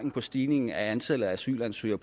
stigningen i antallet af asylansøgere